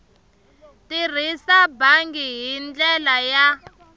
tirhisa bangi hi ndlela ya